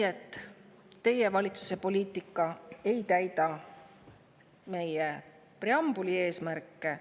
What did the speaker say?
Seega, teie valitsuse poliitika ei täida preambulis eesmärke.